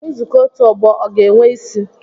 Nzukọ otu ọgbọ ọ ga-enwe isi?